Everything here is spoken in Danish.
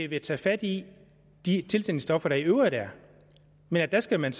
vil tage fat i de tilsætningsstoffer der i øvrigt er men der skal man